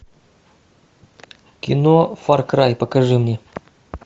кино фар край покажи мне